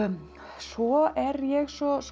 svo er ég svo